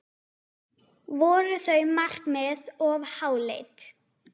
Voru þau markmið of háleit?